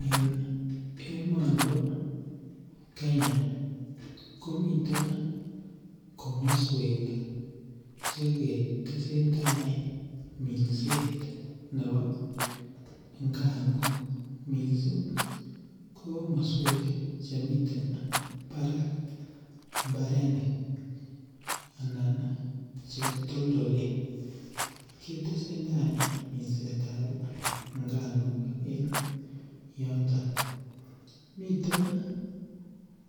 En emonibo Kenya komiten komoswek che ketesen tai minset nebo inganuk, mising ko komoswek chemiten barak mbarenik anan che toldolen, ketesenda kolsetab inganuk en yoton. Miten